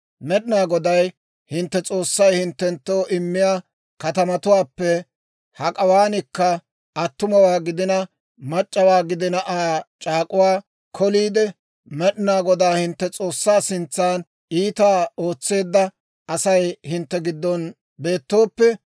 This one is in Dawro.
«Med'inaa Goday hintte S'oossay hinttenttoo immiyaa katamatuwaappe hak'awaankka attumawaa gidina mac'c'awaa gidina Aa c'aak'uwaa koliide, Med'inaa Godaa hintte S'oossaa sintsan iitaa ootseedda Asay hintte giddon beettooppe,